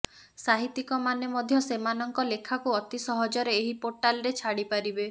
ସାହିତ୍ୟିକମାନେ ମଧ୍ୟ ସେମାନଙ୍କ ଲେଖାକୁ ଅତି ସହଜରେ ଏହି ପୋର୍ଟାଲରେ ଛାଡିପାରିବେ